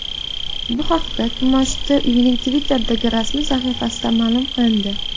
Bu haqda kimoshdi uyining Twitter’dagi rasmiy sahifasida ma’lum qilindi .